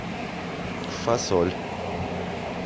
фасоль